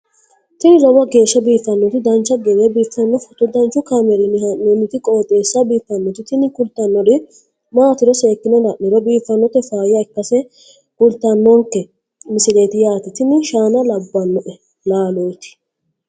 tini lowo geeshsha biiffannoti dancha gede biiffanno footo danchu kaameerinni haa'noonniti qooxeessa biiffannoti tini kultannori maatiro seekkine la'niro biiffannota faayya ikkase kultannoke misileeti yaate tini shaana labbanno laalooti